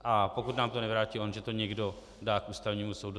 A pokud nám to nevrátí on, že to někdo dá k Ústavnímu soudu.